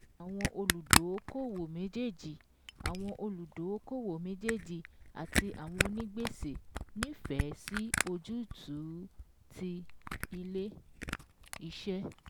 Àwọn olùdóókòwò méjèèjì àwọn olùdóókòwò méjèèjì àti àwọn onígbèsè nífẹ̀ẹ́ sí ojútùú ti ilé iṣẹ́